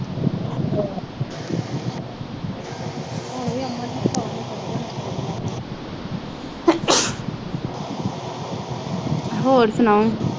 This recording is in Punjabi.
ਹੋਰ ਸੁਣਾਓ।